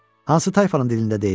Hansı tayfanın dilində deyim?